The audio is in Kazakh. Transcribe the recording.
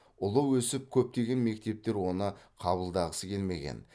ұлы өсіп көптеген мектептер оны қабылдағысы келмеген